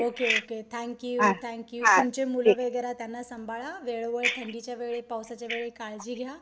Okay okay thank you thank you तुमचे मुलं वैगेरे त्यांना सांभाळा वेळोवेळी थंडीच्या वेळी पावसाच्या वेळी काळजी घ्या.